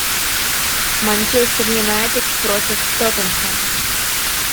манчестер юнайтед против тоттенхэм